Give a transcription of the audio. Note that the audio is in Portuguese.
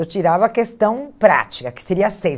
Eu tirava a questão prática, que seria seis.